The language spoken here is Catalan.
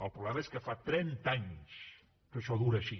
el problema és que fa trenta anys que això dura així